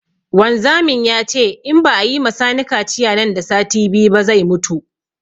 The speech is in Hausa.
Wanzamin yace in ba a yima sani kaciya nan da sati biyu ba zai mutu